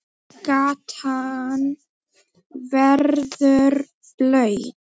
Gatan verður blaut.